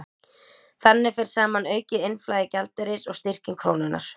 Þannig fer saman aukið innflæði gjaldeyris og styrking krónunnar.